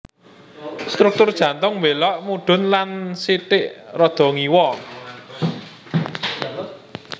Struktur jantung mbélok mudhun lan sithik rada ngiwa